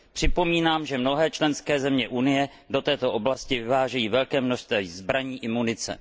Připomínám, že mnohé členské země Unie do této oblasti vyvážejí velké množství zbraní i munice.